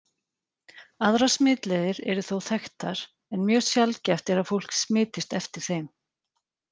Aðrar smitleiðir eru þó þekktar, en mjög sjaldgæft er að fólk smitist eftir þeim.